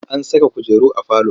An saka kujeru a falo.